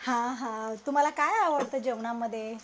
हा हा तुम्हाला काय आवडत जेवणामध्ये?